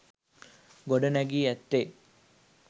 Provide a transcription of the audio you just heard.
ගොඩනැගී ඇත්තේ